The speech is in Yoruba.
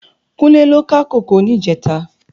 Kunle lò ká kókòó nijètá